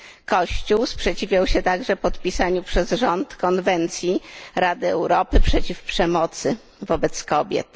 Kościół sprzeciwiał się także podpisaniu przez rząd konwencji Rady Europy przeciw przemocy wobec kobiet.